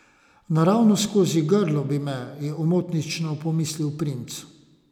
Naravnost skozi grlo bi me, je omotično pomislil princ.